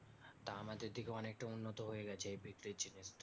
তা আমাদের দিকেও অনেকটা উন্নত হয়ে গেছে এই বিক্রির জিনিসটা